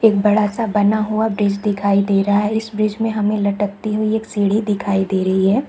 एक बड़ा सा बना हुआ ब्रिज दिखाई दे रहा है इस ब्रिज में हमें लटकती हुई एक सीढ़ी दिखाई दे रही है।